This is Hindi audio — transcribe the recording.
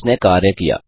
इसने कार्य किया